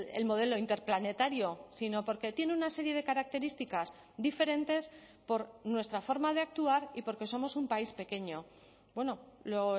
el modelo interplanetario sino porque tiene una serie de características diferentes por nuestra forma de actuar y porque somos un país pequeño bueno lo